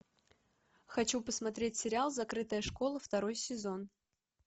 хочу посмотреть сериал закрытая школа второй сезон